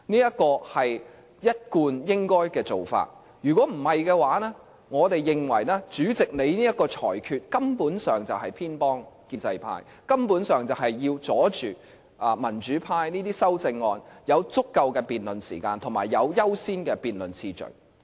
這是一貫做法，否則，我們認為主席這個裁決，根本上是偏幫建制派，根本上是要阻擋民主派的修正案有足夠辯論時間及有優先的辯論次序。